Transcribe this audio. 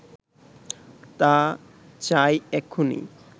তা চাই এক্ষুণি